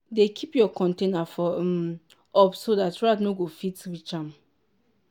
dey keep your container for um up so dat rat nor go fit reach am.